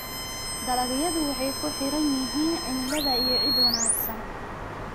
Dalagyadu waxay ku xiran yihiin cimilada iyo ciid wanaagsan.